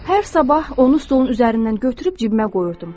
Hər sabah onu stolun üzərindən götürüb cibimə qoyurdum